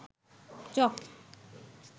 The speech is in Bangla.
চক